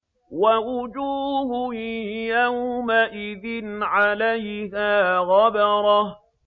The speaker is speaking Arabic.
وَوُجُوهٌ يَوْمَئِذٍ عَلَيْهَا غَبَرَةٌ